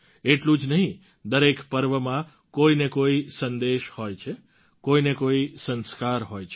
એટલું જ નહીં દરેક પર્વમાં કોઈને કોઈ સંદેશ હોય છે કોઈને કોઈ સંસ્કાર હોય છે